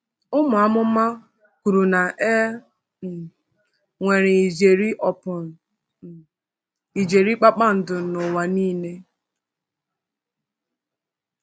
Ụmụ amụma kwuru na e um nwere ijeri upon um ijeri kpakpando n’ụwa niile!